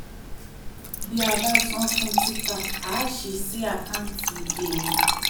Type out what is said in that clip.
bí a bá san fún tita a sì sí àkáǹtì èrè.